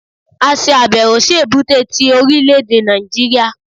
A se àbẹ̀wò sí èbúté ti Orílẹ̀dè Nàìjíríà